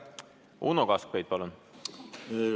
Uno Kaskpeit, palun!